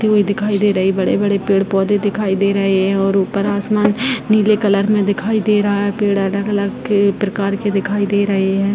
दिखाई दे रही बड़े-बड़े पेड़-पौधे दिखाई दे रहे हैं और ऊपर आसमान नीले कलर में दिखाई दे रहा है पेड़ अलग अलग प्रकार के दिखाई दे रहे हैं।